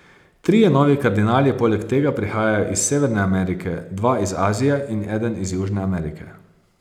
Trije novi kardinali poleg tega prihajajo iz Severne Amerike, dva iz Azije in eden iz Južne Amerike.